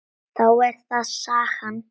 Þá er það sagan.